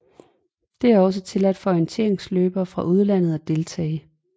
Det er også tilladt for orienteringsløbere fra udlandet at deltage